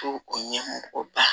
Ko o ɲɛmɔgɔba